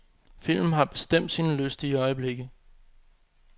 Filmen har bestemt sine lystige øjeblikke.